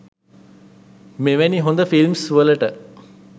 මෙවැනි හොද ෆිල්ම්ස් වලට